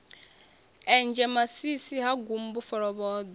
enzhe masisi ha gumbu folovhoḓwe